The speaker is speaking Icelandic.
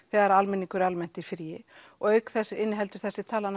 þegar almenningur er almennt í fríi og auk þess inniheldur þessi tala